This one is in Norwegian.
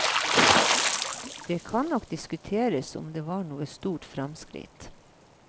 Det kan nok diskuteres om det var noe stort fremskritt.